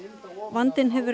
vandinn hefur